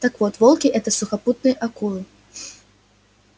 так вот волки это сухопутные акулы